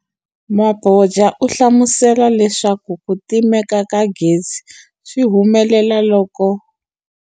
Mabotja u hlamusele leswaku ku timeka ka gezi swi humelela loko.